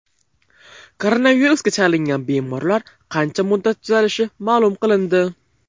Koronavirusga chalingan bemorlar qancha muddatda tuzalishi ma’lum qilindi.